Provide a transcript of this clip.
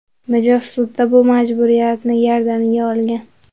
Mijoz sudda bu majburiyatni gardaniga olgan.